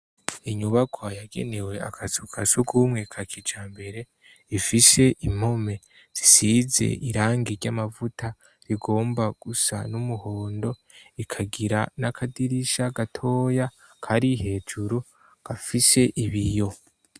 Inyubakwa yagenewe akazu ka surwumwe ka kijambere, ifishe impome zisize irangi ry'amavuta rigomba gusa n'umuhondo, ikagira n'akadirisha gatoya kari hejuru gafishe ibiyo.